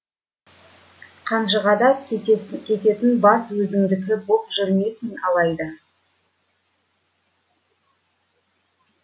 қанжығада кететін бас өзіңдікі боп жүрмесін алайда